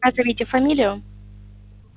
назовите фамилию